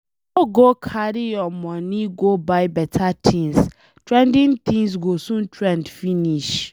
No go carry your money go buy beta things, trending things go soon trend finish.